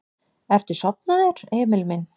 Ertu sofnaður, Emil minn?